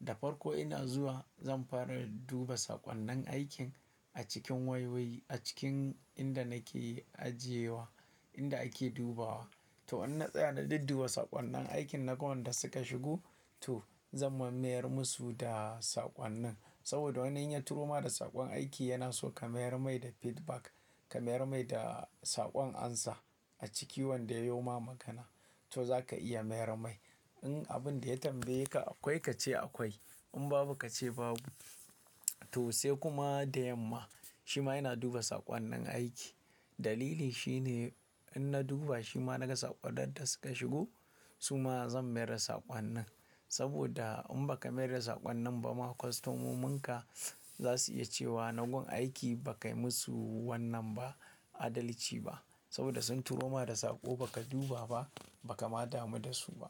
Da farko ina zuwa zan fara duba saƙonnin aikin a cikin wayoyi, a cikin inda nake ajiye wa, inda ake dubawa. To in na tsaya na dudduba saƙonnin aikin na ga wanda suka shigo to zan mayar musu da saƙonnin. Saboda wani yin ya turo ma da saƙon aiki yana so ka mayar mai da feedback, ka mayar mai da saƙon amsa a ciki wanda ya yo ma magana. To zaka iya mayar mai. In abun da ya tambaye ka akwai ka ce akwai. In babu ka ce babu. To sai kuma da yamma shima ina duba saƙonnin aiki. Dalili shine in na duba shima na ga saƙonnin da suka shigo su ma zan mayar da saƙonnin. Saboda in ba ka mayar da saƙonnin ba ma kostomomin ka za su iya cewa na gun aiki ba kai musu wannan ba adalci ba. Saboda sun turo ma da saƙo ba ka duba ba, ba ka ma damu da su ba.